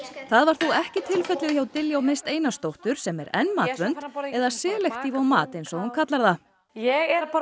það var þó ekki tilfellið hjá Diljá Mist Einarsdóttur sem er enn matvönd eða selektív á mat eins og hún kallar það ég er að fara